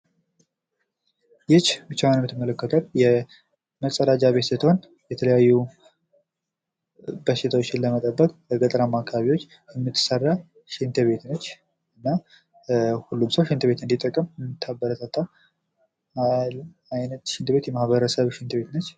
ይህች ብቻዋን የምትመለከቷት የመጸዳጃ ቤት ስትሆን የተለያዩ በሽታዎችን ለመጠበቅ በገጠራማ አካባቢዎች የምትሰራ ሽንት ቤት ነች ። እና ሁሉም ሰው ሽንት ቤት እንዲጠቀም ምታበረታታ አይንት ሽንት ቤት የማኅበረሰብ ሽንት ቤት ነች ።